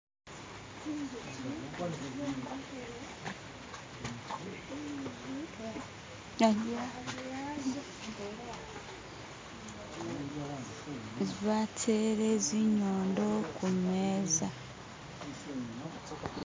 Batele zinyondo kumeza